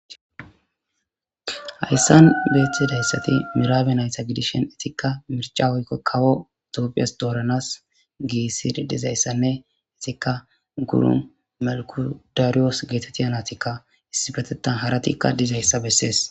hayssan beetidayssati miraabe nayta gidishen etikka mirca woykko kawo ettoopiyas dooranas giissi dizayssanne etikka gurun melkudariyoos geetetita natikka issipetettan haratikka dizayssa bessees